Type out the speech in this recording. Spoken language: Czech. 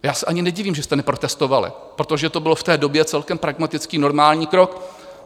Já se ani nedivím, že jste neprotestovali, protože to byl v té době celkem pragmatický, normální krok.